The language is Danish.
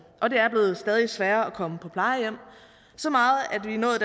og det er blevet stadig sværere at komme på plejehjem så meget